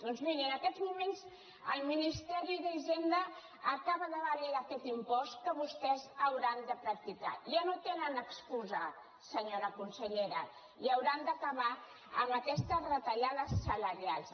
doncs mirin en aquests moments el ministeri d’hisenda acaba de validar aquest impost que vostès hauran de practicar ja no tenen excusa senyora consellera i hauran d’acabar amb aquestes retallades salarials